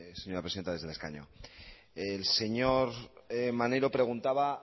señora presidente desde el escaño el señor maneiro preguntaba